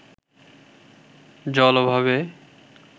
জল অভাবে